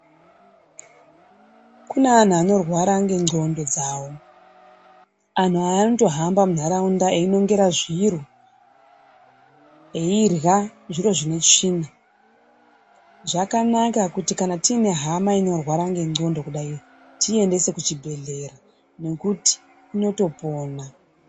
Kune anhu anorwara ngendxondo dzawo, anhu aya anotohamba mundaraunda eyinongera zviro, eyirya zviro zvinesvina, zvakanaka kuti kana tiyine hama inorwara ngendxondo kudayi, tiyiendese kuchibhedhlera nekuti inotopona.